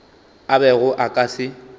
a bego a ka se